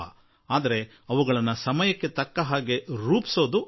ಆದರೆ ಕಾಲದ ಕರೆಗೆ ಅನುಸಾರ ಅದಕ್ಕೆ ಹೊಸತನ ಕೊಡಬೇಕಾಗುತ್ತದೆ